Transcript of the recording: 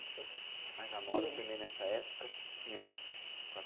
Mas a moda também nessa época tinha